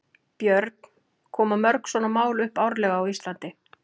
Björn: Koma mörg svona mál upp árlega á Íslandi?